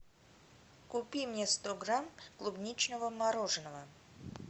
купи мне сто грамм клубничного мороженого